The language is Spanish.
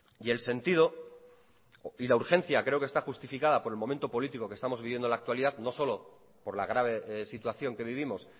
y el sentido y la urgencia creo que está justificada por el momento político que estamos viviendo en la actualidad no solo por la grave situación que vivimos